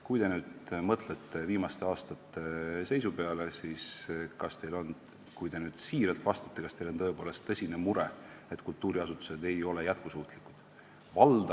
Kui te mõtlete viimaste aastate seisu peale, siis kas te saate öelda, kui te siiralt vastate, et teil on tõepoolest tõsine mure, et kultuuriasutused ei ole jätkusuutlikud?